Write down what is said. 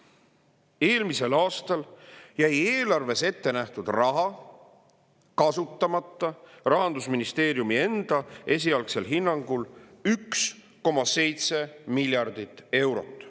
Eelmisel aastal jäi eelarves ette nähtud raha kasutamata Rahandusministeeriumi enda esialgsel hinnangul 1,7 miljardit eurot.